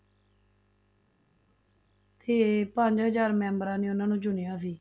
ਤੇ ਪੰਜ ਹਜ਼ਾਰ ਮੈਂਬਰਾਂ ਨੇ ਉਹਨਾਂ ਨੂੰ ਚੁਣਿਆ ਸੀ।